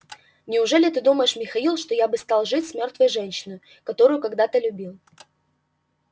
неужели ты думаешь михаил что я бы стал жить с мёртвой женщиной которую когда-то любил